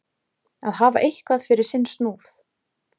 Að hafa eitthvað fyrir sinn snúð